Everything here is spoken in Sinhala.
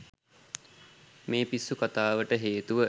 මේ පිස්සු කතාවට හේතුව